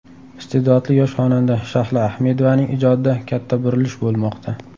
Iste’dodli yosh xonanda Shahlo Ahmedovaning ijodida katta burilish bo‘lmoqda.